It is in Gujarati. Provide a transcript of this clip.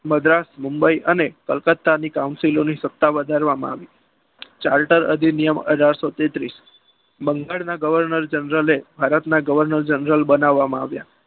મદ્રાસ મુંબઈ અને કલકત્તા ની કાઉન્સિલો ની સત્તા વધારવામાં આવી ચાર્ટર અધિનિયમ અઢારસો તેત્રીસ બંગાળના governor general એ governor general બનાવવામાં આવ્યા.